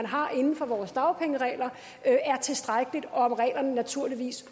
har inden for vores dagpengeregler er tilstrækkeligt og naturligvis